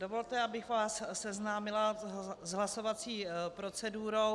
Dovolte, abych vás seznámila s hlasovací procedurou.